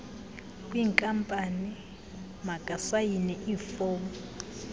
kwinkampani makasayine iifom